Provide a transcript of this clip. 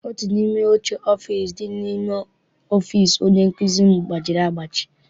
Otu n'ime oche ọfịịsi dị n'ime ọfịịsi onye nkụzi m gbajiri agbaji.